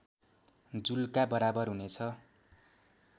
जुलका बराबर हुने छ